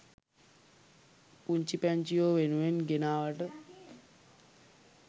පුංචි පැංචියෝ වෙනුවෙන් ගෙනාවට.